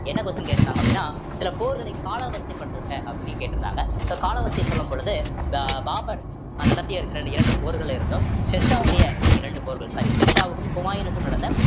என்ன question கேட்டுருந்தாங்க அப்படின்னா சில போர்களை காலாவரிசை படுத்துங்க sir அப்படின்னு சொல்லி கேட்டிருந்தாங்க so காலாவரிசைய சொல்லும் பொழுது பாபர் நடத்தியிருக்கிற இந்த இரண்டு போர்கள்ல இருந்தும் ஷெர்ஷாவுடைய இந்த இரண்டு போர்கள் sorry ஷெர்ஷாவுக்கும் ஹுமாயனுக்கும் நடந்த